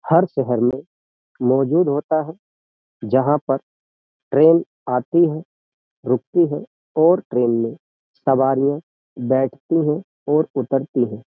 हर शहर में मौजूद होता है जहाँ पर ट्रेन आती है रुकती है और ट्रेन में सवारियां बैठती हैं और उतरती हैं।